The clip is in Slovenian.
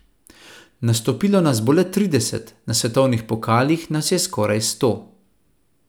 Nastopilo nas bo le trideset, na svetovnih pokalih nas je skoraj sto.